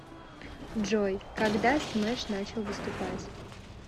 джой когда смэш начал выступать